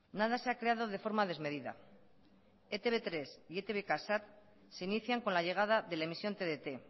nada se ha creado de forma desmedida etb tres y etb k sat se inician con la llegada de la emisión tdt